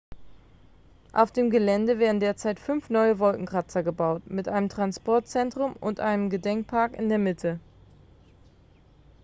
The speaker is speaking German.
auf dem gelände werden derzeit fünf neue wolkenkratzer gebaut mit einem transportzentrum und einem gedenkpark in der mitte